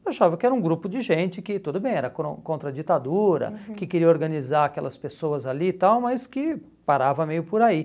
Eu achava que era um grupo de gente que, tudo bem, era cron contra a ditadura, uhum, que queria organizar aquelas pessoas ali e tal, mas que parava meio por aí.